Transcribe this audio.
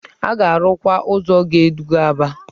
A ga-arụkwa ụzọ na-eduga Aba.